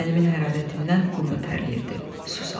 Bədənimin hərarətindən qumda tərləyirdi, su salırdı.